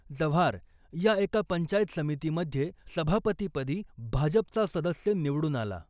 जव्हार या एका पंचायत समितीमध्ये सभापतीपदी भाजपचा सदस्य निवडून आला .